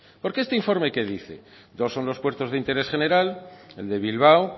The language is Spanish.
porque este informe que dice dos son los puertos de interés general el de bilbao